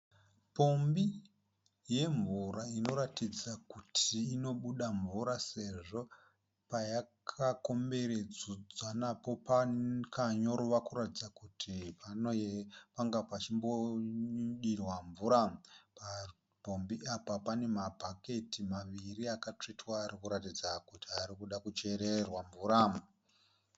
Pombi yemvura inoratidza kuti inobuda mvura sezvo payakakomberedzwa napo pakanyorova kuratidza kuti panga pachimbodirwa mvura. Papombi Apa pane mabhaketi maviri akatsvetwa arikuratidza kuti anoda kuchererwa mvura.